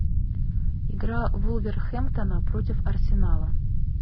игра вулверхэмптона против арсенала